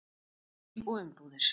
Lyf og umbúðir.